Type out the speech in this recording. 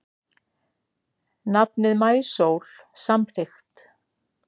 Nafnið Maísól samþykkt